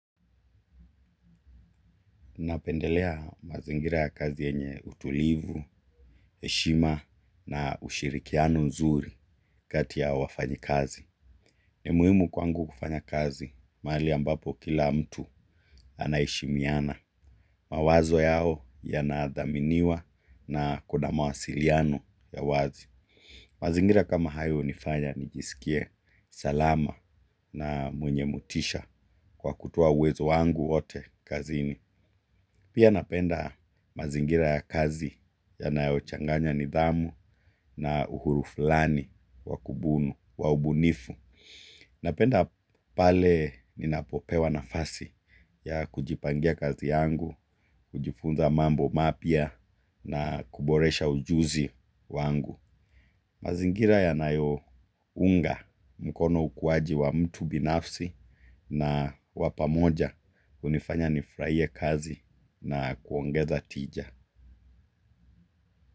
Napendelea mazingira ya kazi yenye utulivu heshima na ushurikiano nzuri kati ya wafanyikazi. Ni muhimu kwangu kufanya kazi mahali ambapo kila mtu anaheshimiana. Mawazo yao yana dhaminiwa na kuna mawasiliano ya wazi. Mazingira kama hayo hunifanya nijisikie salama na mwenye motisha kwa kutoa uwezo wangu wote kazini. Pia napenda mazingira ya kazi ya nayo changanya nidhamu na uhuru fulani wakubunu, waubunifu. Napenda pale ninapopewa nafasi ya kujipangia kazi yangu, kujifunza mambo mapya na kuboresha ujuzi wangu. Mazingira ya nayo unga mkono ukuwaji wa mtu binafsi na wapamoja hunifanya nifurahie kazi na kuongeza tija.